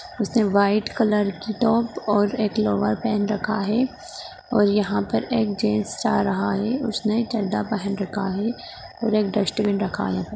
उसने white colour की top और एक लोवर पहन रखा है और यहाँ पर एक जेंट्स जा रहा है उसने चड्डा पहन रखा है और एक डस्टबिन रखा है।